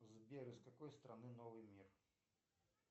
сбер из какой страны новый мир